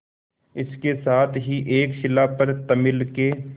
इसके साथ ही एक शिला पर तमिल के